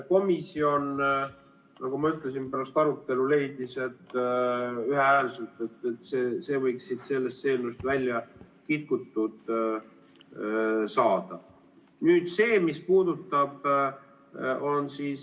Komisjon, nagu ma ütlesin, pärast arutelu leidis ühehäälselt, et see võiks sellest eelnõust välja kitkutud saada.